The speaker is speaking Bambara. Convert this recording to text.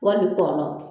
Wali kɔnɔn